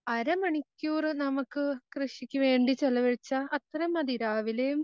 അരമണിക്കൂറ് നമുക്ക് കൃഷിക്ക് വേണ്ടി ചെലവഴിച്ചാൽ അത്രേം മതി രാവിലെയും